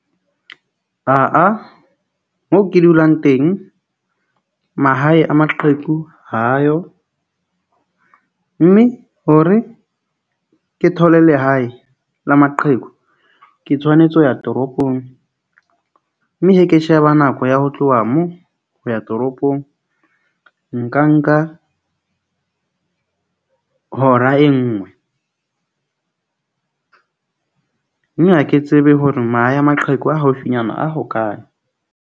Moo ke dulang teng, mahae a maqheku ha ayo mme hore ke thole lehae la maqheku ke tshwanetse ho ya toropong. Mme he ke sheba nako ya ho tloha mo ho ya toropong. Nka nka hora e nngwe mme ha ke tsebe hore mahae a maqheku a haufinyana a hokae.